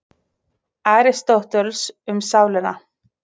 Aristóteles, Um sálina.